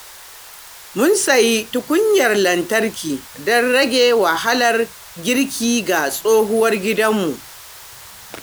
Mun sayi tukunyar lantarki don rage wahalar girki ga tsohuwar gidanmu.